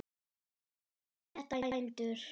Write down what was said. Gerið þetta, bændur!